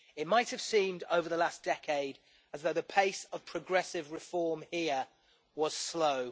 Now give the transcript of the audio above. It might have seemed over the last decade that the pace of progressive reform here was slow.